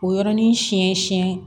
O yɔrɔnin siɲɛ siɲɛ